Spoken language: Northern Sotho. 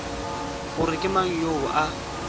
gore ke mang yoo a